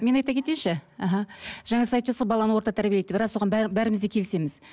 мен айта кетейінші іхі жаңа сіз айтып жатырсыз ғой баланы орта тәрбиелейді деп рас оған бәріміз де келісеміз